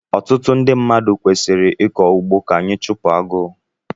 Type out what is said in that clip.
Ọtụtụ ndị mmadụ kwesịrị ịkọ ugbo ka anyị chupu agụụ